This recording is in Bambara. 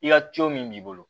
I ka min b'i bolo